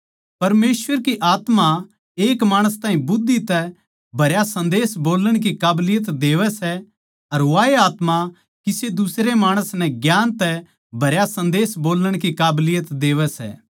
परमेसवर की आत्मा एक माणस ताहीं बुद्धि तै भरा सन्देस बोल्लण की काबलियत देवै सै अर वाए आत्मा किसे दुसरे माणस नै ज्ञान तै भरा सन्देस बोल्लण की काबलियत देवै सै